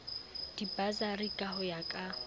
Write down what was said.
dibasari ka ho ya ka